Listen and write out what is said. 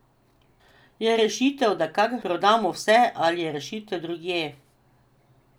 Je rešitev, da kar prodamo vse, ali je rešitev drugje?